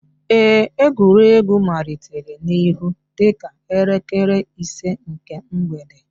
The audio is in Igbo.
Ee, egwuregwu malitere n'ihe dịka elekere ise nke mgbede